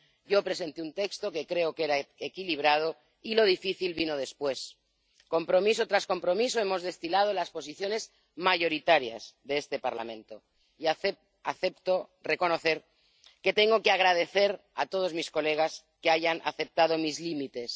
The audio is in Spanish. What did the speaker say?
yo presenté un texto, que creo que era equilibrado, y lo difícil vino después. Compromiso tras compromiso, hemos destilado las posiciones mayoritarias de este Parlamento y acepto reconocer que tengo que agradecer a todos mis colegas que hayan aceptado mis límites.